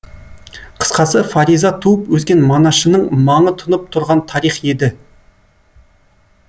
қысқасы фариза туып өскен манашының маңы тұнып тұрған тарих еді